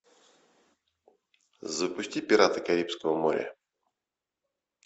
запусти пираты карибского моря